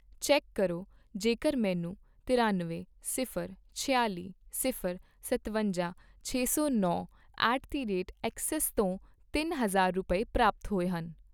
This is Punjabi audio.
ਚੈੱਕ ਕਰੋ ਜੇਕਰ ਮੈਨੂੰ ਤਰਿਅਨਵੇਂ, ਸਿਫ਼ਰ, ਛਿਆਲੀ, ਸਿਫ਼ਰ, ਸਤਵੰਜਾ, ਛੇ ਸੌ ਨੌ ਐਟ ਦੀ ਰੇਟ ਐੱਕਸਿਸ ਤੋਂ ਤਿੰਨ ਹਜ਼ਾਰ ਰੁਪਏ, ਪ੍ਰਾਪਤ ਹੋਏ ਹਨ